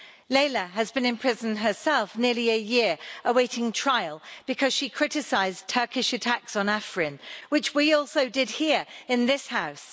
Leyla has been imprisoned herself for nearly a year awaiting trial because she criticised Turkish attacks on Afrin which we also did here in this House.